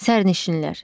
Sərnişinlər.